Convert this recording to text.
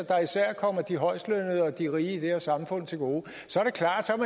der især kommer de højestlønnede og de rige i det her samfund til gode